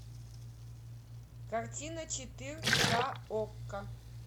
картина четыр ка окко